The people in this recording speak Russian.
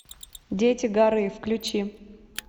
дети горы включи